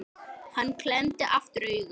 Hann klemmdi aftur augun